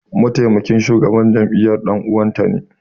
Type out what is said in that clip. Mataimakin shugaban jami'ar dan uwanta ne.